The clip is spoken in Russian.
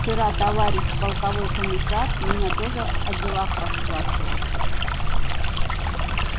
вчера товарищ полковой комиссар меня тоже о делах расспрашивал